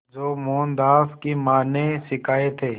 जो मोहनदास की मां ने सिखाए थे